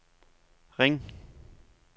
ring